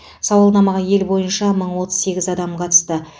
сауалнамаға ел бойынша мың отыз сегіз адам қатысты